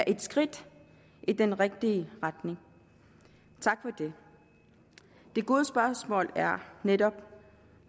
er et skridt i den rigtige retning tak for det det gode spørgsmål er netop